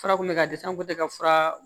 Fura kun bɛ ka disanko tɛ ka fura